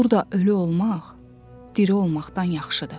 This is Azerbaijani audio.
Burda ölü olmaq, diri olmaqdan yaxşıdır.